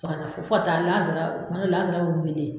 Fo ka fo ka taa lanzara lanzara wulilen.